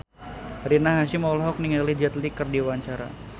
Rina Hasyim olohok ningali Jet Li keur diwawancara